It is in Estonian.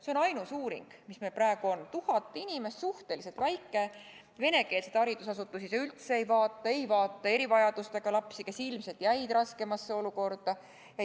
See on ainus uuring, mis meil praegu on – tuhat inimest, suhteliselt väike valim, venekeelseid haridusasutusi see üldse ei vaata, samuti mitte erivajadusega lapsi, kes ilmselt jäid raskemasse olukorda.